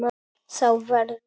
Þá verður